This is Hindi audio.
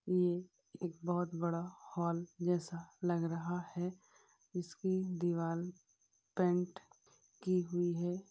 यह एक बहुत बड़ा हॉल जैसा लग रहा है इसकी दीवाल पेंट की हुई है।